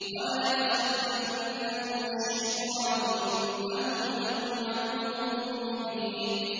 وَلَا يَصُدَّنَّكُمُ الشَّيْطَانُ ۖ إِنَّهُ لَكُمْ عَدُوٌّ مُّبِينٌ